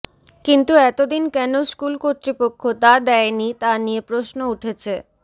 কিন্তু এতদিন কেন স্কুল কর্তৃপক্ষ তা দেয়নি তা নিয়ে প্রশ্ন উঠেছে